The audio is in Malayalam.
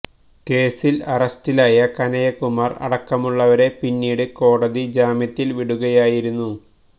കേസില് അറസ്റ്റിലായ കനയ്യകുമാര് അടക്കമുള്ളവരെ പിന്നീട് കോടതി ജാമ്യത്തില് വിടുകയായിരുന്നു